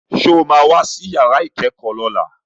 Sọ ma wá sí yàrá ìkẹ́kọ̀ọ́ lọ́la?